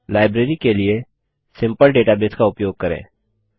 library के लिए simple database का उपयोग करें